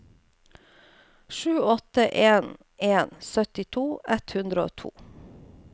sju åtte en en syttito ett hundre og to